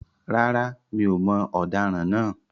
Rárá, mi ò mọ ọ̀daràn naa